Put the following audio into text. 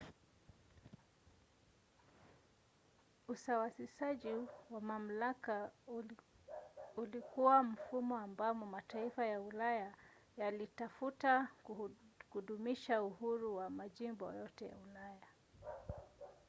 usawasishaji wa mamlaka ulikuwa mfumo ambamo mataifa ya ulaya yalitafuta kudumisha uhuru wa majimbo yote ya ulaya